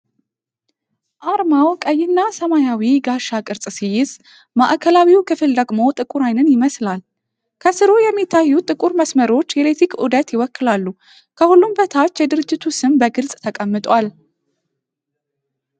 አርማው ቀይና ሰማያዊ ጋሻ ቅርጽ ሲይዝ፤ ማዕከላዊው ክፍል ደግሞ ጥቁር ዓይንን ይመስላል። ከሥሩ የሚታዩት ጥቁር መስመሮች የኤሌክትሪክ ዑደት ይወክላሉ። ከሁሉም በታች የድርጅቱ ስም በግልጽ ተቀምጧል።